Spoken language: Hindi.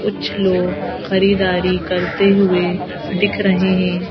कुछ लोग खरीदारी करते हुए दिख रहे हैं।